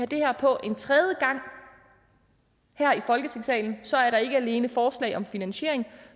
det her på en tredje gang her i folketingssalen så er der ikke alene forslag om finansiering